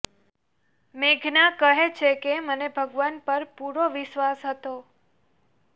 મેઘના કહે છે કે મને ભગવાન પર પૂરો વિશ્વાસ હતો